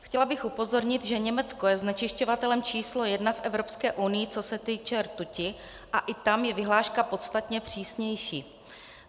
Chtěla bych upozornit, že Německo je znečišťovatelem číslo jedna v Evropské unii, co se týče rtuti, a i tam je vyhláška podstatně přísnější.